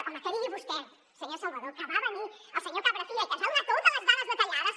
home que digui vostè senyor salvadó que va venir el senyor cabrafi·ga i que ens va donar totes les dades detallades